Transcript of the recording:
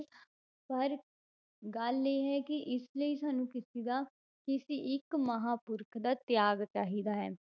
ਪਰ ਗੱਲ ਇਹ ਹੈ ਕਿ ਇਸ ਲਈ ਸਾਨੂੰ ਕਿਸੇ ਦਾ ਕਿਸੇ ਇੱਕ ਮਹਾਂਪੁਰਖ ਦਾ ਤਿਆਗ ਚਾਹੀਦਾ ਹੈ।